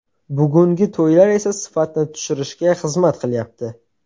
Bugungi to‘ylar esa sifatni tushirishga xizmat qilyapti.